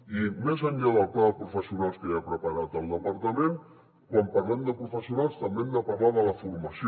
i més enllà del pla de professionals que ja ha preparat el departament quan parlem de professionals també hem de parlar de la formació